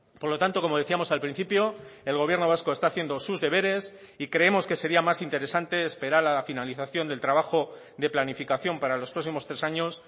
por lo tanto como decíamos al principio el gobierno vasco está haciendo sus deberes y creemos que sería más interesante esperar a la finalización del trabajo de planificación para los próximos tres años